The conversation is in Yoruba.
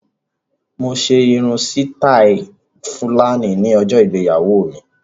Mo ṣe irun sítáì Fúlàní ní ọjọ ìgbéyàwó mi.